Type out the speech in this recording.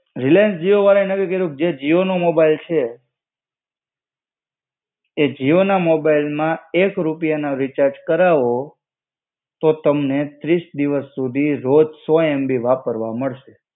Reliance Jio વાળાએ નવું કઈરું, જે જીઓના મોબાઈલ છે, એ જીઓના મોબાઈલમાં એક રૂપિયા ના રિચાર્જ કરાવો, તો તમને ત્રીસ દિવસ સુધી રોજ સૌ MB વાપરવા મળશે.